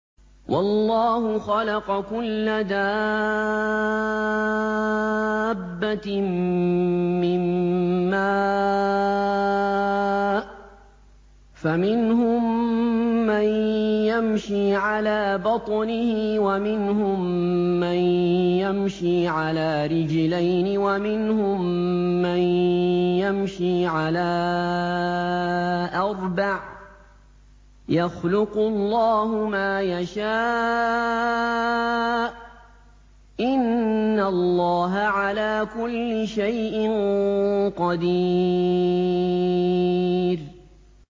وَاللَّهُ خَلَقَ كُلَّ دَابَّةٍ مِّن مَّاءٍ ۖ فَمِنْهُم مَّن يَمْشِي عَلَىٰ بَطْنِهِ وَمِنْهُم مَّن يَمْشِي عَلَىٰ رِجْلَيْنِ وَمِنْهُم مَّن يَمْشِي عَلَىٰ أَرْبَعٍ ۚ يَخْلُقُ اللَّهُ مَا يَشَاءُ ۚ إِنَّ اللَّهَ عَلَىٰ كُلِّ شَيْءٍ قَدِيرٌ